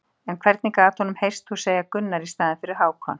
En hvernig gat honum heyrst þú segja Gunnar í staðinn fyrir Hákon?